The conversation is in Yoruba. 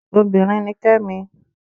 Obinrin ni Kẹ́mi